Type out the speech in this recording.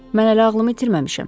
Mən hələ ağlımı itirməmişəm.